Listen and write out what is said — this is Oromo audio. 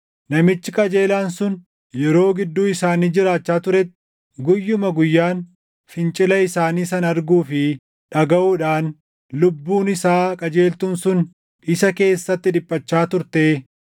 namichi qajeelaan sun yeroo gidduu isaanii jiraachaa turetti guyyuma guyyaan fincila isaanii sana arguu fi dhagaʼuudhaan lubbuun isaa qajeeltuun sun isa keessatti dhiphachaa turtee,